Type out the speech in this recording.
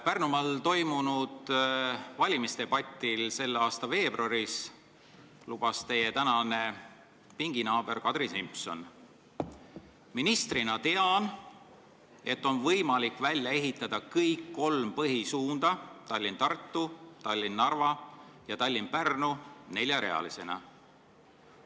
Pärnumaal toimunud valimisdebatil selle aasta veebruaris lubas teie praegune pinginaaber Kadri Simson: "Ministrina tean, et on võimalik välja ehitada kõik kolm põhisuunda – Tallinn–Tartu, Tallinn–Narva ja Tallinn–Pärnu – neljarealisena.